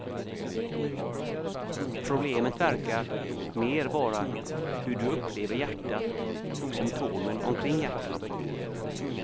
Problemet verkar mer vara hur du upplever hjärtat och symptomen omkring hjärtat.